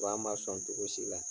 ma sɔn cogo si la